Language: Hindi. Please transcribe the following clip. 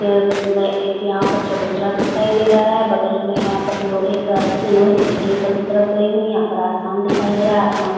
पे-- मे एक यहाँ पर चबूतरा दिखाई दे रहा है बगल में यहाँ पर लोहे का लोहे की छड़ी उपर की तरफ गई हुई है यहाँ पर आसमान दिखाई दे रहा है आसमान पे--